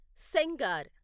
Sengar